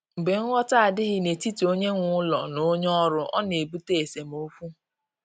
Mgbe nghọta adịghị n’etiti onye nwe ụlọ na onye ọrụ, ọ na-ebute esemokwu.